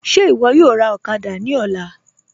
Ṣe iwọ yọ̀ọ́ rá òkàdà ní ọ̀là?